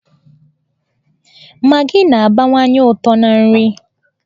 Magị na-agbakwụnye ụtọ na nri.